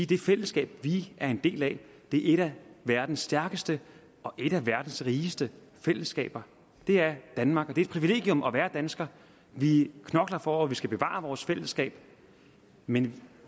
det fællesskab vi er en del af er et af verdens stærkeste og et af verdens rigeste fællesskaber det er danmark og det er et privilegium at være dansker vi knokler for at vi skal bevare vores fællesskab men